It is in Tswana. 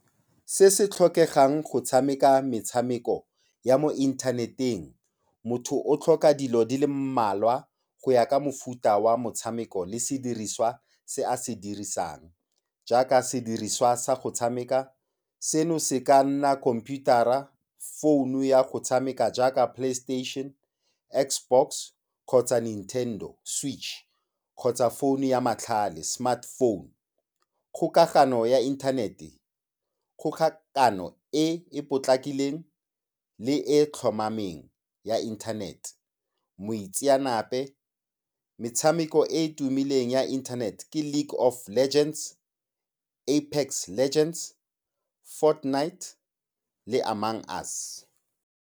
Se se tlhokegang go tshameka metshameko ya mo inthaneteng, motho o tlhoka dilo di le mmalwa go ya ka mofuta wa motshameko le sediriswa se a se dirisang jaaka sediriswa sa go tshameka, seno se ka nna khomputara, founu ya go tshameka jaaka Playstation, Xbox kgotsa Nintendo Switch kgotsa phone ya matlhale smart phone, kgokagano ya internet-e, kgokagano e e potlakileng le e e tlhomameng ya internet, moitseanape. Metshameko e e tumileng ya internet ke League of Legends, Apex Legends, Fortnite le Among Us.